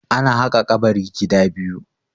ana haka kabari gida biyu